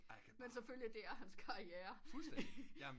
Men selvfølgelig det er hans karriere